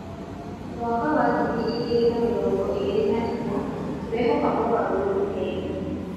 Mwaka wa ngiri igĩrĩ na mĩrongo ĩĩrĩ na inya, tũrehoka mogarũrũku merũ.